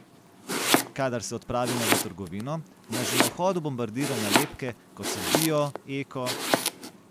Kadar se odpravimo v trgovino, nas že na vhodu bombardirajo nalepke, kot so bio, eko ...